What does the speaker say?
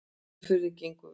Umferðin gengur vel